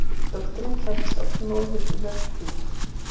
Dóttirin klæðist oft móður möttli.